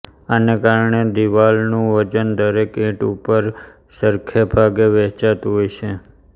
આને કારણે દીવાલનું વજન દરેક ઈંટ ઉપર સરખાભાગે વહેંચાતું હોય છે